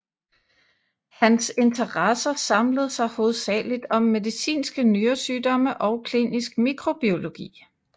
Hans interesser samlede sig hovedsageligt om medicinske nyresygdomme og klinisk mikrobiologi